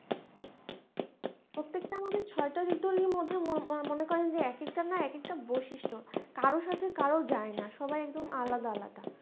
প্রত্যেকটা আমাদের ছয়টা ঋতুর মধ্যে মনে করেন যে একটার এক একটা বৈশিষ্ট, কারো সাথে কারো যায় না, সবাই একদম আলাদা আলাদা